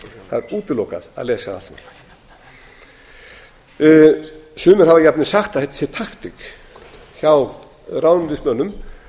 það er útilokað að lesa það allt saman sumir hafa jafnvel sagt að þetta sé takt hjá ráðuneytismönnum